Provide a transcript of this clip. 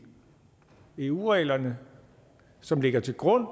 eu reglerne som ligger til grund